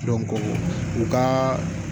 u ka